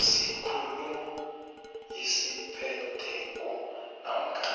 sikhulu esiphetheko namkha